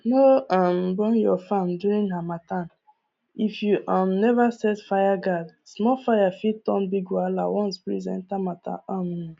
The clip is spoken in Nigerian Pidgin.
no um burn your farm during harmattan if you um never set fire guard small fire fit turn big wahala once breeze enter matter um